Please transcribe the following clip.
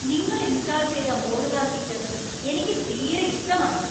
നിങ്ങൾ ഇൻസ്റ്റാൾ ചെയ്ത modular kitchen എനിക്ക് തീരെ ഇഷ്ടമായില്ല .